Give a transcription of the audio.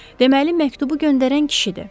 Deməli məktubu göndərən kişidir.